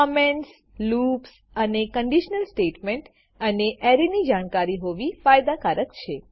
કમેન્ટસલૂપ્સઅને conditional statement અને એરેની જાણકારી હોવી ફાયદા કારક છે